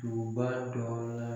Duguba dɔ la